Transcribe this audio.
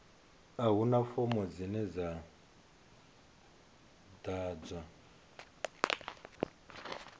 a huna fomo dzine dza ḓadzwa